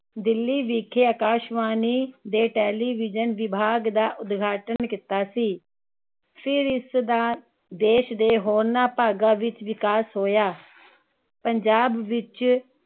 ਦਿੱਲੀ ਵਿਖੇ ਆਕਾਸ਼ਵਾਣੀ ਦੇ television ਵਿਭਾਗ ਦਾ ਉਦਘਾਟਨ ਕੀਤਾ ਸੀ ਫੇਰ ਇਸਦਾ ਦੇਸ਼ ਦੇ ਹੋਰਨਾਂ ਭਾਗਾਂ ਵਿਚ ਵਿਕਾਸ ਹੋਇਆ ਪੰਜਾਬ ਵਿਚ